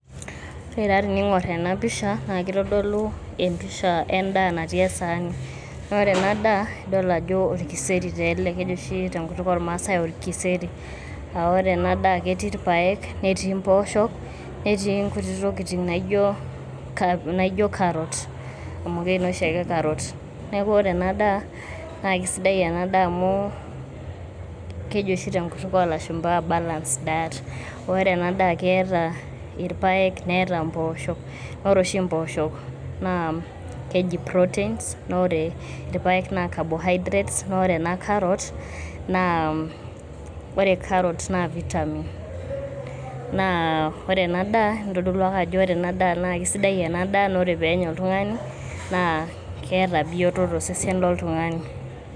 ore taa teningor ena pisha naa kitodolu empisha endaa natii esaani, naa ore ena daa idol ajo orkiserri taa ele keji oshi tenkutuk ormaase orkiserri .aa ore ena daa ketii irpaaek ,netii mpoosho ,netii nkutitik tokitin naijo carr naijo carrot amu kei noshi ake carrot .niaku ore ena daa naa kisidai ena daa amu keji oshi tenkutuk olashumba balance diet. ore ena daa keeta irpaeek ,neeta mpoosho ,ore oshi mpoosho naa keji proteins naa ore ipaeek naa cabohydrates naa ore naa carrots naa ore carrot naa vitamin .naa ore ena daa itodolu ake ajo naa ore ena daa naa kisidai ena daa naa ore penya oltungani naa keeta bioto tosesen toltungani .